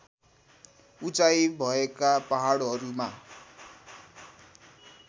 उचाई भएका पहाडहरूमा